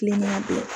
Kilema tɛ